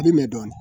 A bi mɛn dɔɔnin